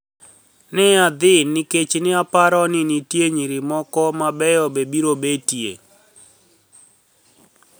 ni e adhi niikech ni e aparo nii niitie niyiri moko mabeyo be biro betie.